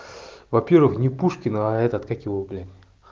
во-первых не пушкин этот как его блин